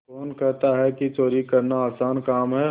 कौन कहता है कि चोरी करना आसान काम है